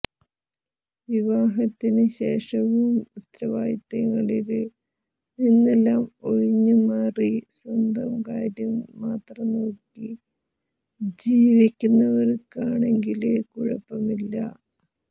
വിവാഹത്തിന് ശേഷവും ഉത്തരവാദിത്തങ്ങളില് നിന്നെല്ലാം ഒഴിഞ്ഞ് മാറി സ്വന്തം കാര്യം മാത്രം നോക്കി ജീവിക്കുന്നവര്ക്കാണെങ്കില് കുഴപ്പമില്ല